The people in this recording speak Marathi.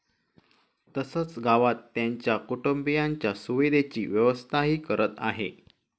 तसंच गावात त्यांच्या कुटुंबियांच्या सुविधेची व्यवस्थाही करत आहे.